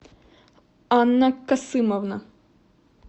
анна касымовна